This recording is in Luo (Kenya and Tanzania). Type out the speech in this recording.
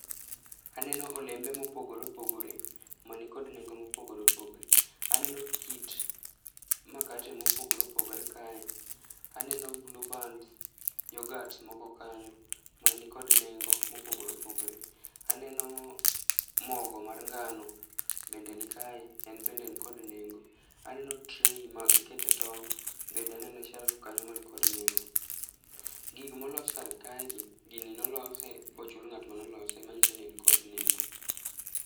Aneno olembe mopogore opogore mani kod nengo mopogore opogore. Aneno kit makate mopogore opogore kae. Aneno bluebands, yoghurts moko kanyo mani kod nengo mopogore opogore. Aneno mogo mar ngano bende nikae, en bende en kod nengo. Aneno tray ma ikete tong',bende aneno e shelf kanyo man kod nengo. Gigo molos kar kaegi ,gini nolose bochul ng'at manolose manyiso ni en kod nengo.